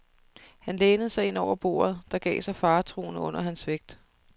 Han lænede sig ind over bordet, der gav sig faretruende under hans vægt.